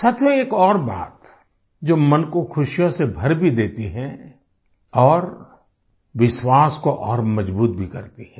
साथियो एक और बात जो मन को खुशियों से भर भी देती है और विश्वास को और मजबूत भी करती है